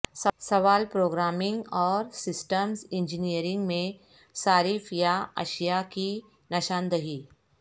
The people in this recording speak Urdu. سوال پروگرامنگ اور سسٹمز انجینئرنگ میں صارف یا اشیاء کی نشاندہی